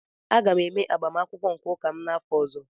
Aga m eme agbamakwụkwọ nke ụka m n'afọ ọzọ